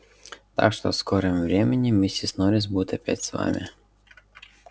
так что в скором времени миссис норрис будет опять с вами